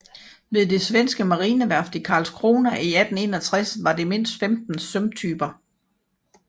Ved det svenske marineværft i Karlskrona i 1861 var det mindst 15 sømtyper